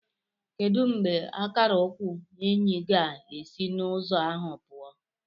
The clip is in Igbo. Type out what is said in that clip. Kedu mgbe akara ukwu Enyi ga-esi n'ụzọ ahụ pụọ?